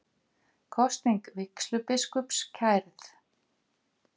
Kosning vígslubiskups kærð